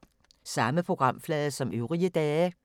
Samme programflade som øvrige dage